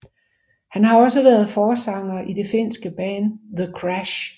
Han har også været forsanger i det finske band The Crash